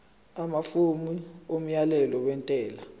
amafomu omyalelo wentela